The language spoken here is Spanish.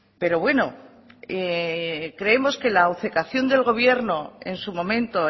pero bueno creemos que la obcecación del gobierno en su momento